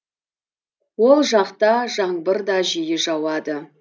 ол жақта жаңбыр да жиі жауады